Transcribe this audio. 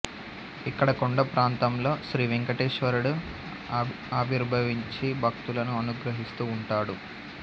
ఇక్కడ కొండ ప్రాంతంలో శ్రీవేంకటేశ్వరుడు ఆవిర్భవించి భక్తులను అనుగ్రహిస్తూ ఉంటాడు